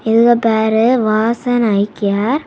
இவங்க பேரு Vasan eye care .